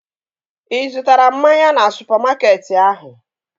Ị zụtara mmanya na supamakeetị ahụ?